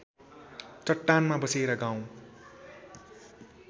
चट्टानमा बसेर गाउँ